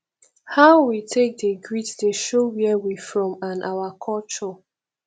how we dey take greet dey show where we from and our culture